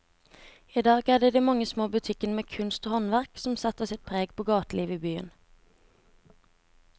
I dag er det de mange små butikkene med kunst og håndverk som setter sitt preg på gatelivet i byen.